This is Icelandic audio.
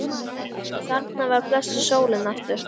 Og þarna var blessuð sólin aftur.